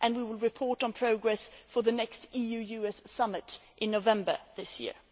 We will report on progress for the next EU US Summit in November this year.